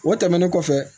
O tɛmɛnen kɔfɛ